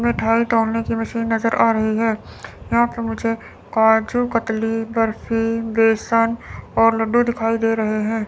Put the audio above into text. मिठाई तौलने की मशीन नजर आ रही है यहां पे मुझे काजू कतली बर्फी बेसन और लड्डू दिखाई दे रहे हैं।